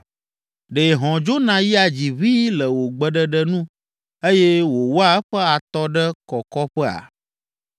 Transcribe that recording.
Ɖe hɔ̃ dzona yia dzi ʋĩi le wò gbeɖeɖe nu eye wòwɔa eƒe atɔ ɖe kɔkɔƒea?